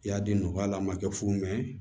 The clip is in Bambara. I y'a di nɔgɔya la a ma kɛ fu mɛ